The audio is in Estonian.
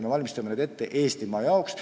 Me valmistame neid ette Eestimaa jaoks.